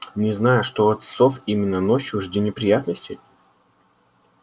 не знаю что от сов именно ночью жди неприятностей